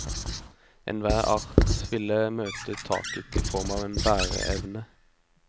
Enhver art ville møte taket i form av en bæreevne.